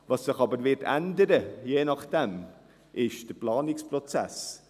Was sich aber je nachdem ändern wird, ist der Planungsprozess.